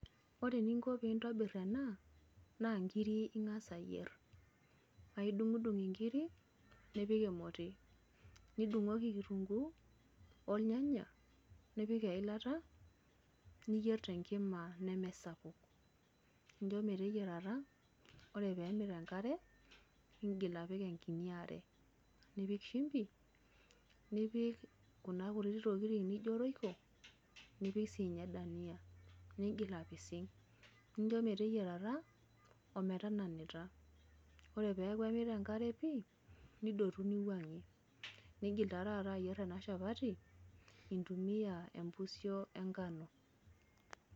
Ore eninko piintobirr ena naa nkirri ing'as ayierr paa aidung'udung' nkirri nipik emoti nidung'oki kitunguu olnyanya nipik eilata niyierr tenkima nemesapuk nincho meteyiarata ore pee emit enkare niingil apik enkinyi are nipik shumbi nipik kuna kuti tokitin nijio royco nipik siinye dania niigil apising' nincho meteyiarata ometananita ore pee eeku emit enkare pii nidotu niwuang'ie niigil taa taata ayierr ena shapati intumia empusio engano.